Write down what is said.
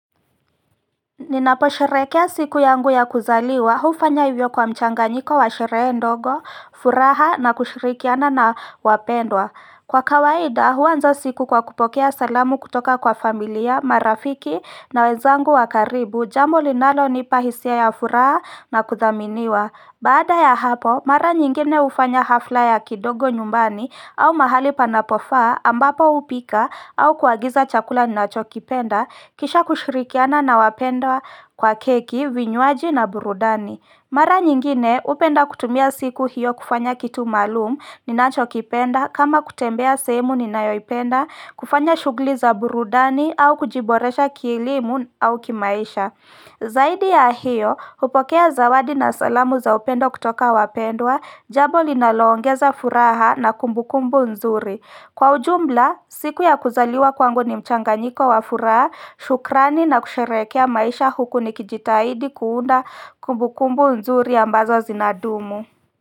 Ninaposherekea siku yangu ya kuzaliwa hufanya hivyo kwa mchanganyiko wa sherehe ndogo, furaha na kushirikiana na wapendwa Kwa kawaida huanza siku kwa kupokea salamu kutoka kwa familia, marafiki na wenzangu wa karibu jambo linalonipa hisia ya furaha na kuthaminiwa Baada ya hapo, mara nyingine hufanya hafla ya kidogo nyumbani au mahali panapofaa ambapo hupika au kuagiza chakula ninachokipenda kisha kushirikiana na wapendwa kwa keki, vinywaji na burudani. Mara nyingine upenda kutumia siku hiyo kufanya kitu maalum ninachokipenda kama kutembea sehemu ninayoipenda kufanya shugjli za burudani au kujiboresha kielimu au kimaisha. Zaidi ya hiyo, hupokea zawadi na salamu za upendo kutoka wapendwa, jabo linaloongeza furaha na kumbukumbu nzuri. Kwa ujumla, siku ya kuzaliwa kwangu ni mchanganyiko wa furaha, shukrani na kusherehekea maisha huku nikijitahidi kuunda kumbukumbu nzuri ambazo zinadumu.